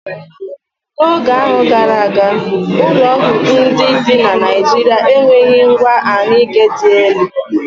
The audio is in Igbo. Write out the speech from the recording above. N'oge gara aga, ụlọọgwụ ndị dị na Naịjirịa enweghị ngwa ahụike dị elu.